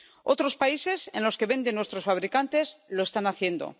Otros países, en los que venden nuestros fabricantes, lo están haciendo.